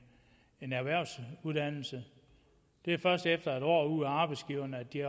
erhvervsuddannelse det er først efter et år ude hos arbejdsgiveren at de